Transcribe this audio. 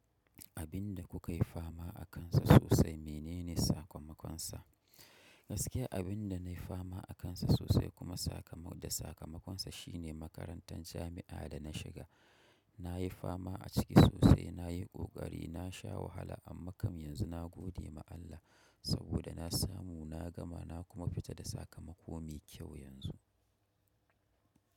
Abin da kukayi fama akansa sosai menene sakamakonsa? Gaskiya abin da nayi fama akansa sosai kuma da sakamakonsa shine makarantar jami'a da na shiga. Nayi fama a ciki sosai, nayi ƙoƙari, nasha wahala amma kam yanzu na gode ma Allah saboda na samu, na gama na kuma fita da sakamako mai kyau yanzu.